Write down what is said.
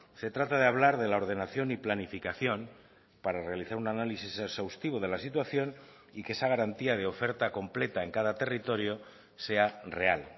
se trata de hablar de la ordenación y planificación para realizar un análisis exhaustivo de la situación y que esa garantía de oferta completa en cada territorio sea real